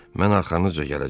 Mən arxanızca gələcəm.